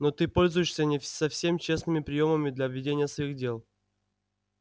но ты пользуешься не совсем честными приёмами для ведения своих дел